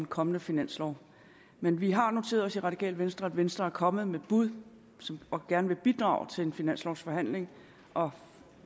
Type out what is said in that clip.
kommende finanslov men vi har noteret os i radikale venstre at venstre er kommet med et bud og gerne vil bidrage til en finanslovforhandling og